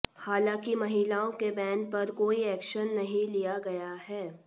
हालांकि महिलाओं के बैन पर कोई एक्शन नहीं लिया गया है